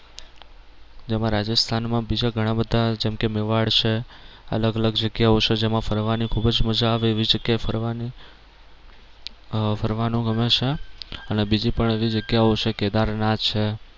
જેમાં રાજસ્થાનમાં બીજા ઘણા બધા જેમ કે મેવાડ છે અલગ અલગ જગ્યાઓ છે જેમાં ફરવાની ખૂબ જ મજા આવે એવી જગ્યાએ ફરવાની આહ ફરવાનું ગમે છે અને બીજી પણ એવી જગ્યાઓ છે કેદારનાથ છે